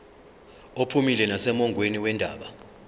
uphumile nasemongweni wendaba